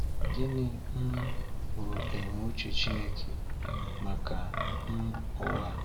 Gịnị um bụ ebumnuche Chineke maka um ụwa?